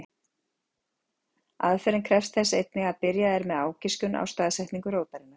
Aðferðin krefst þess einnig að byrjað er með ágiskun á staðsetningu rótarinnar.